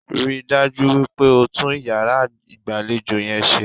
Ríi dájú wípé o tún iyàrá ìgbàlejò yẹn se